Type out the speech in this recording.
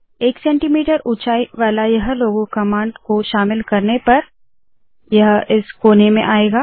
1 cm ऊंचाई वाला यह लोगो कमांड इस कोने में आएगा